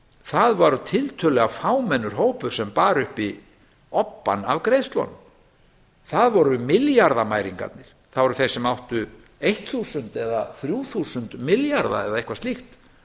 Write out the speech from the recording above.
það var tiltölulega fámennur hópur sem bar uppi obbann af greiðslunum það voru milljarðamæringarnir það voru þeir sem áttu eitt þúsund eða þrjú þúsund milljarða eða eitthvað slíkt